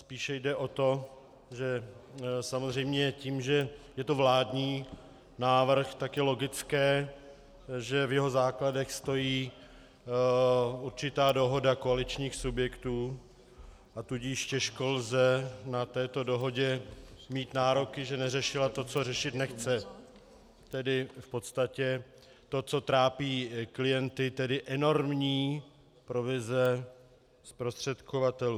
Spíše jde o to, že samozřejmě tím, že je to vládní návrh, tak je logické, že v jeho základech stojí určitá dohoda koaličních subjektů, a tudíž těžko lze na tuto dohodu mít nároky, že neřešila to, co řešit nechce, tedy v podstatě to, co trápí klienty, tedy enormní provize zprostředkovatelů.